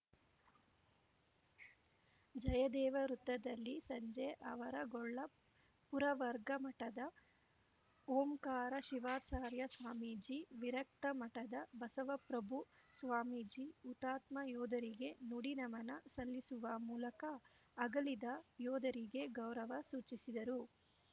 ಜಯದೇವ ವೃತ್ತದಲ್ಲಿ ಸಂಜೆ ಆವರಗೊಳ್ಳ ಪುರವರ್ಗ ಮಠದ ಓಂಕಾರ ಶಿವಾಚಾರ್ಯ ಸ್ವಾಮೀಜಿ ವಿರಕ್ತ ಮಠದ ಬಸವಪ್ರಭು ಸ್ವಾಮೀಜಿ ಹುತಾತ್ಮ ಯೋಧರಿಗೆ ನುಡಿ ನಮನ ಸಲ್ಲಿಸುವ ಮೂಲಕ ಅಗಲಿದ ಯೋಧರಿಗೆ ಗೌರವ ಸೂಚಿಸಿದರು